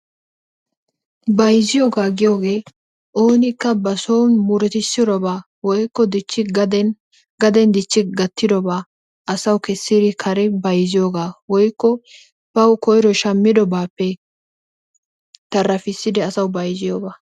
Bayzziyogaa giyogee oonikka bason murutissirobaa woykko dichchi gaden, gaden dichchi gattirobaa asawu kessiri kare bayzziyogaa woykko bawu koyro shammidobaappe tarafissidi asawu bayzziyogaa.